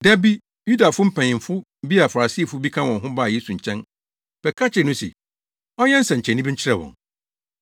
Da bi, Yudafo mpanyimfo bi a Farisifo bi ka wɔn ho baa Yesu nkyɛn bɛka kyerɛɛ no se, ɔnyɛ nsɛnkyerɛnne bi nkyerɛ wɔn.